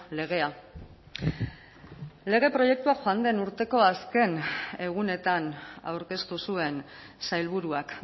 legea lege proiektua joan den urteko azken egunetan aurkeztu zuen sailburuak